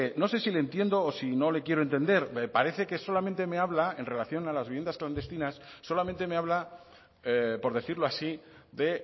no sé si le entiendo o si no le quiero entender me parece que solamente me habla en relación a las viviendas clandestinas solamente me habla por decirlo así de